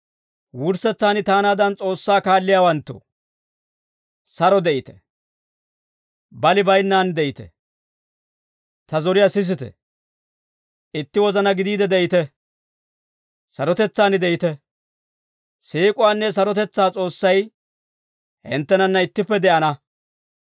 Wurssetsaan taanaadan S'oossaa kaalliyaawanttoo, saro de'ite; bali baynnaan de'ite; ta zoriyaa sisite; itti wozana gidiide de'ite; sarotetsaan de'ite. Siik'uwaanne sarotetsaa S'oossay, hinttenanna ittippe de'ana.